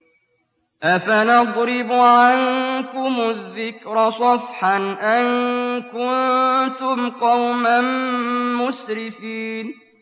أَفَنَضْرِبُ عَنكُمُ الذِّكْرَ صَفْحًا أَن كُنتُمْ قَوْمًا مُّسْرِفِينَ